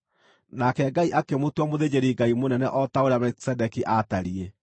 nake Ngai akĩmũtua mũthĩnjĩri-Ngai mũnene o ta ũrĩa Melikisedeki aatariĩ.